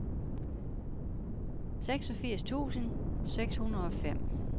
seksogfirs tusind seks hundrede og fem